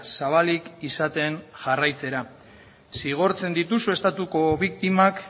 zabalik izaten jarraitzera zigortzen dituzue estatuko biktimak